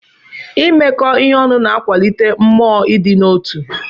Imekọ ihe ọnụ na-akwalite mmụọ ịdị n'otu.